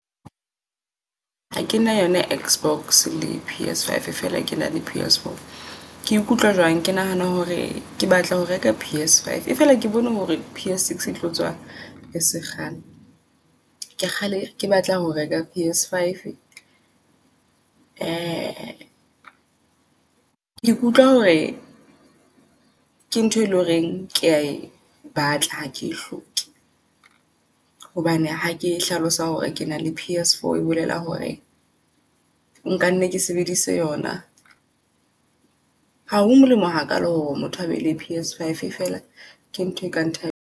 Hakena yona X box le P_S five fela ke na le P_S four. Ke ikutlwa jwang? Ke nahana hore ke batla ho reka P_S five e fela, ke bone hore P_S six e tlo tswa ese kgale. Ke kgale ke batlang ho reka P_S five. ke ikutlwa hore ke ntho e leng horeng kea e batla ha ke e hloke. Hobane ha ke hlalosa hore ke na le P_S four e bolela hore nka nna ka sebedisa yona. Ha ho molemo ha kalo hore motho a be le P_S five fela ke ntho e ka ntho e ka ntlha .